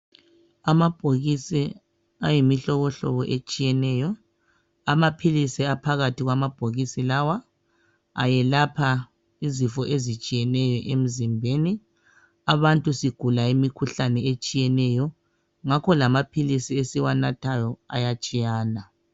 Amabhokisi ayimihlobohlobo etshiyeneyo amaphilisi aphakathi kwamabhokisi lawa ayelapha izifo ezitshiyetshiyeneyo emzimbeni. Abantu sigula imikhuhlane etshiyeneyo ngakho lamaphilisi esiwanathayo atshiyene.